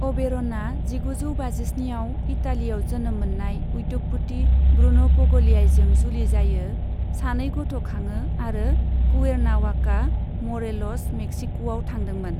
अबेर'नआ जिगुजौ बाजिस्निआव इटालीआव जोनोम मोननाय उद्य'गपति ब्रून' पगलियाइजों जुलि जायो, सानै गथ' खाङो आरो कुवेर्नावाका, म'रेल'स, मेक्सिक'आव थादोंमोन।